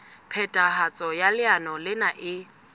phethahatso ya leano lena e